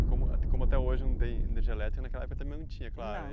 E como como até hoje não tem energia elétrica, naquela época também não tinha, claro. Não